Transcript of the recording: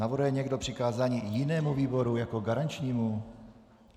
Navrhuje někdo přikázání jinému výboru jako garančnímu?